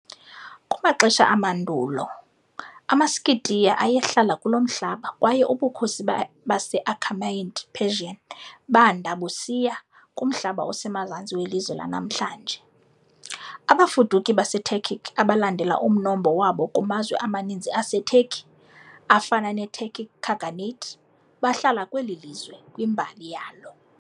Kumaxesha amandulo amaSkitiya ayehlala kulo mhlaba, kwaye ubukhosi base-Achaemenid Persian banda busiya kumhlaba osemazantsi welizwe lanamhlanje. Abafuduki baseTurkic, abalandela umnombo wabo kumazwe amaninzi aseTurkey afana neTurkic Khaganate, bahlala kweli lizwe kwimbali yalo.